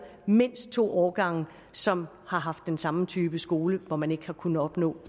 mindst to årgange som har haft den samme type skole hvor man ikke har kunnet opnå